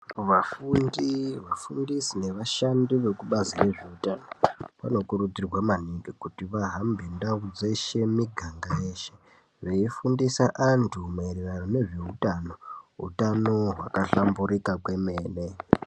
Vafundi, vafundisi nevashandi vekubazi rezveutano, vanokurudzirwa maningi kuti vahambe ndau dzeshe miganga yeshe, veifundisa antu maererano ngezveutano, utano hwakahhlamburika kwemene.